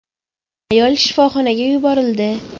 Ayol shifoxonaga yuborildi.